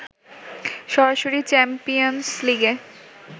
সরাসরি চ্যাম্পিয়ন্স লিগে